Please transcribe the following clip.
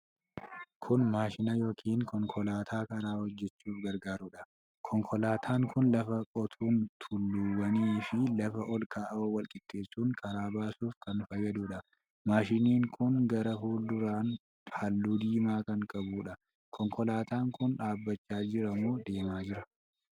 Kun maashina Yookiiin konkolaataa karaa hojjachuuf gargaarudha. Konkolaataan kun lafa qotuun tulluuwwanii fi lafa ol ka'aa wal qixxeessuun karaa baasuuf kan fayyaduudha. Maashinni kun gara fuulduraan halluu diimaa kan qabuudha. Konkolaataan kun dhaabbachaa jiramoo deemaa jira?